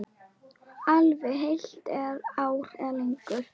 Jafnvel heilt ár eða lengur.